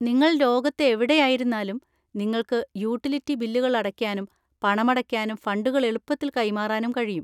നിങ്ങൾ ലോകത്ത് എവിടെയായിരുന്നാലും നിങ്ങൾക്ക് യൂട്ടിലിറ്റി ബില്ലുകൾ അടയ്ക്കാനും പണമടയ്ക്കാനും ഫണ്ടുകൾ എളുപ്പത്തിൽ കൈമാറാനും കഴിയും.